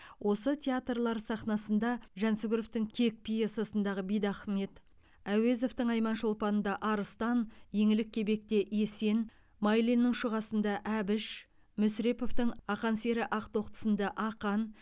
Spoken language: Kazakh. осы театрлар сахнасында жансүгіровтың кек пьессасында бидахмет әуезовтың айман шолпан да арыстан еңлік кебек те есен майлиннің шұға сында әбіш мүсіреповтың ақан сері ақтоқты сында ақан